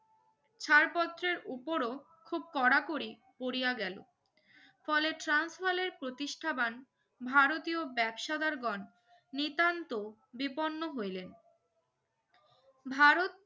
ছাড় পত্রের উপরো খুব কড়াকড়ি করিয়া গেলো ফলে ট্রান্স বালের প্রতিষ্ঠাবান ভারতীয় ব্যবসাদার গন নিতান্ত বিপন্ন হইলেন ভারত